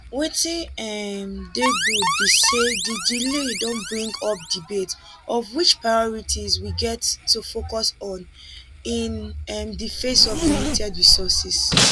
wetin um dey good be say di delay don bring up debate of which priorities we get to focus on in um di face of limited resources